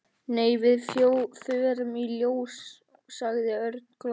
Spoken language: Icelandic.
Nei, við förum í ljós sagði Örn glottandi.